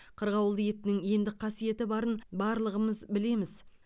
қырғауыл етінің емдік қасиеті барын барлығын білеміз